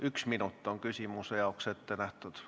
Üks minut on küsimuse jaoks ette nähtud!